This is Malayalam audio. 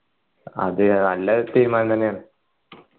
അതെ നല്ല തീരുമാനം തന്നെയാണ്